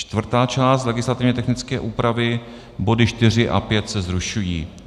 Čtvrtá část legislativně technické úpravy, body 4 a 5 se zrušují.